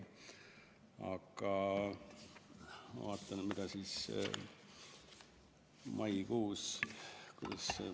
Aga ma vaatan, mida maikuus ...